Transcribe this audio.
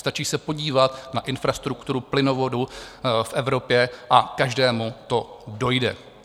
Stačí se podívat na infrastrukturu plynovodů v Evropě a každému to dojde.